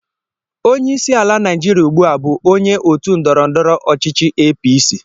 Onye isi ala Naijiria ugbu a bụ onye otu ndọrọndọrọ ọchịchị APC.